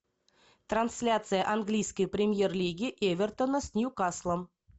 трансляция английской премьер лиги эвертона с ньюкаслом